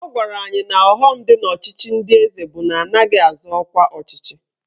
Ọ gwara anyị na ọghọm dị n'ọchịchị ndị eze bụ na anaghị azọ ọkwa ọchịchị